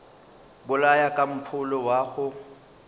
bolaya ka mpholo wa go